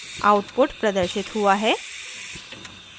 output प्रदर्शित हुआ है